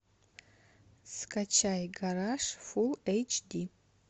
скачай гараж фул эйч ди